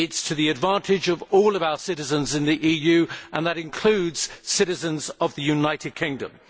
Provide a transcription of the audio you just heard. It is to the advantage of all our citizens in the EU and that includes citizens of the United Kingdom.